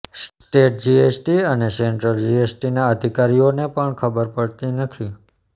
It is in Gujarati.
સ્ટેટ જીએસટી અને સેન્ટ્રલ જીએસટીના અધિકારીઓને પણ ખબર પડતી નથી